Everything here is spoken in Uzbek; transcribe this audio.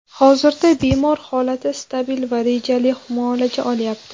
Hozirda bemor holati stabil va rejali muolaja olyapti.